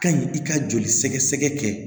Ka ɲi i ka joli sɛgɛsɛgɛ kɛ